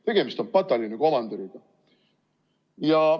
Tegemist on pataljonikomandöriga.